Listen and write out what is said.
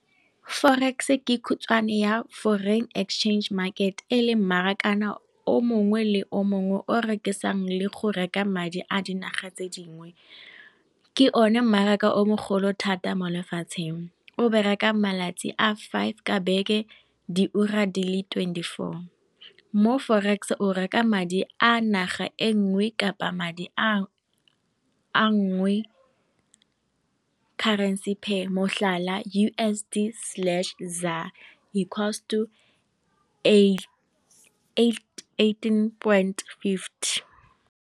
Forex ke khutshwane ya foreign exchange market e le mmaraka o mongwe le o mongwe o rekisang le go reka madi a dinaga tse dingwe. Ke o ne mmaraka o mogolo thata mo lefatsheng, o bereka malatsi a five ka beke di ura di le twenty four mo forex o reka madi a naga e nngwe kapa madi a nngwe currency pay motlhala U_S_D slash zar equals to eighteen point fifty.